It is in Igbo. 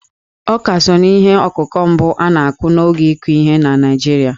Ọká so n'ihe ọkụkụ mbụ a na-akụ n'oge ịkụ ihe na Naịjirịa..